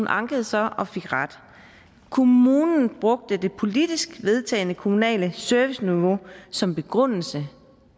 ankede så og fik ret kommunen brugte det politisk vedtagne kommunale serviceniveau som begrundelse